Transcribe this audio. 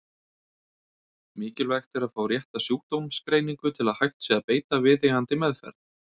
Mikilvægt er að fá rétta sjúkdómsgreiningu til að hægt sé að beita viðeigandi meðferð.